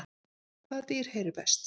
Hvaða dýr heyrir best?